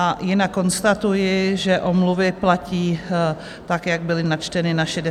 A jinak konstatuji, že omluvy platí tak, jak byly načteny na 66. schůzi.